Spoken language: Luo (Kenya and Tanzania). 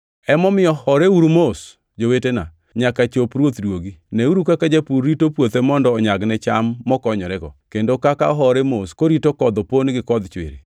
Emomiyo horeuru mos, jowetena, nyaka chop Ruoth duogi. Neuru kaka japur rito puothe mondo onyagne cham mokonyorego, kendo kaka ohore mos korito kodh opon gi kodh chwiri.